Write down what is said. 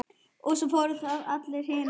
Og svo voru það allar hinar.